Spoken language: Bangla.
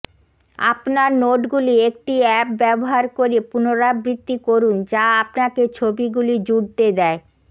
আপনার নোটগুলি একটি অ্যাপ ব্যবহার করে পুনরাবৃত্তি করুন যা আপনাকে ছবিগুলি জুড়তে দেয়